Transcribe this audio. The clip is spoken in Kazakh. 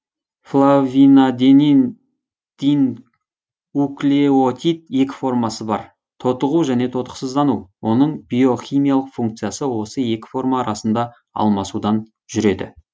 флавинадениндинуклеотид екі формасы бар тотығу және тотықсыздану оның биохимиялық функциясы осы екі форма арасында алмасудан жүреді